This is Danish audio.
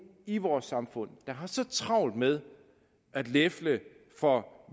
i vores samfund der har så travlt med at lefle for